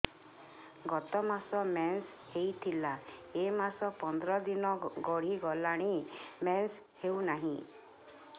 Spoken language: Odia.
ଗତ ମାସ ମେନ୍ସ ହେଇଥିଲା ଏ ମାସ ପନ୍ଦର ଦିନ ଗଡିଗଲାଣି ମେନ୍ସ ହେଉନାହିଁ